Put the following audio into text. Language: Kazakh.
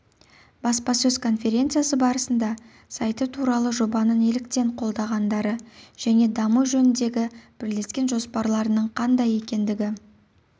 баспасөз конференциясы барысында сайты туралы жобаны неліктен қолдағандары және даму жөніндегі бірлескен жоспарларының қандай екендігі